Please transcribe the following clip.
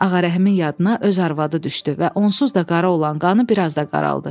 Ağarəhimin yadına öz arvadı düşdü və onsuz da qara olan qanı biraz da qaraldı.